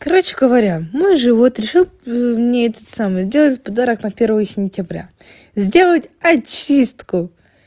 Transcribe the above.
короче говоря мы же вот решил мне этот самый сделать подарок на первое сентября сделать очистку